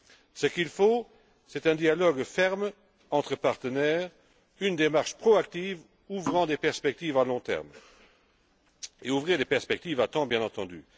Ce qu'il faut, c'est un dialogue ferme entre partenaires, une démarche proactive ouvrant des perspectives à long terme, à condition de les ouvrir à des perspectives à temps, bien entendu.